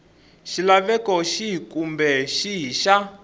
xilaveko xihi kumbe xihi xa